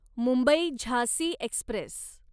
Mumbai Jhansi Express